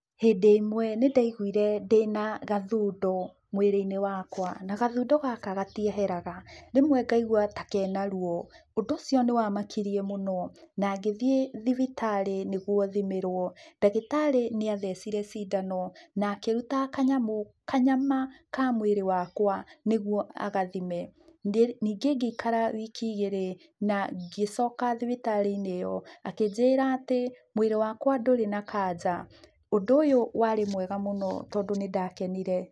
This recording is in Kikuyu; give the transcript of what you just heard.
Hĩndĩ ĩmwe nĩndaiguire ndĩna gathundo mwĩrĩinĩ wakwa, na gathundo gaka gatieheraga, rĩmwe ngaigua ta kena ruo, ũndũ ũcio nĩwamakirie mũno na ngĩthiĩ thibitarĩ nĩguo thimĩrwo, ndagĩtarĩ nĩathecire cindano na akĩruta kanyama ka mwĩrĩ wakwa nĩguo agathime, ningĩ ngĩikara wiki igĩrĩ na ngĩcoka thibitarĩinĩ ĩyo na akĩnjĩra atĩ mwĩrĩ wakwa ndũrĩ na kanja, ũndũ ũyũ warĩ mwega mũno tondũ nĩndakenire.